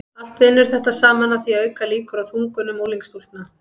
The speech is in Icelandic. allt vinnur þetta saman að því að auka líkur á þungunum unglingsstúlkna